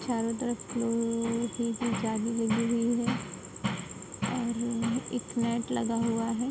चारों तरफ जाली लगी हुई है और एक नेट लगा हुआ है।